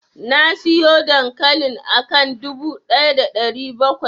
Nasiyo dankalin akan dubu ɗaya da ɗari bakwai.